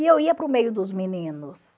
E eu ia para o meio dos meninos.